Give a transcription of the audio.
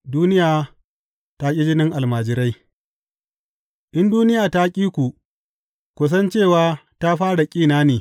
Duniya ta ƙi jinin almajirai In duniya ta ƙi ku, ku san cewa ta fara ƙin na ne.